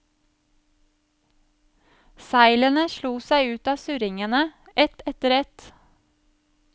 Seilene slo seg ut av surringene ett etter ett.